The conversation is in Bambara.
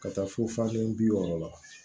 Ka taa fo fan kelen bi wɔɔrɔ la